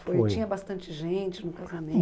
foi. Tinha bastante gente no